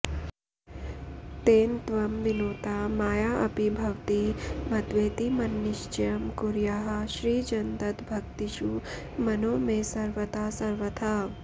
तेन त्वं विनुता मयाऽपि भवती मत्वेति मन्निश्चयं कुर्याः श्रीजनदत्तभक्तिषु मनो मे सर्वदा सर्वथा